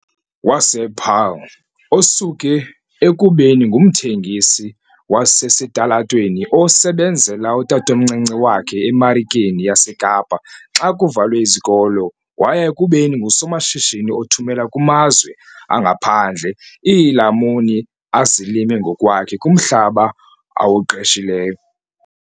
wasePaarl, osuke ekubeni ngumthengisi wasesitalatweni osebenzela utatomncinci wakhe eMarikeni yaseKapa xa kuvalwe izikolo waya ekubeni ngusomashishini othumela kumazwe angaphandle iilamuni azilima ngokwakhe kumhlaba awuqeshileyo.